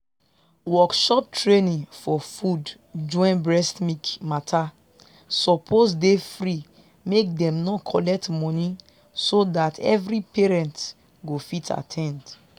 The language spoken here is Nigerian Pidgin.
workshop training for food join breast milk matter suppose dey free make them no collect money so that every parents go fit at ten d.